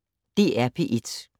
DR P1